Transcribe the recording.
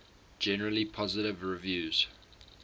generally positive reviews